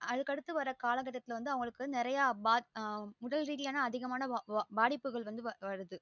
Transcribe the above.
அதுக்கடுத்து வர காலக்கட்டத்துல வந்து அவங்களுக்கு உடல் ரீதியா ஆதிக உடல் ரீதியான அதிகமான பாதிப்புகள் வருது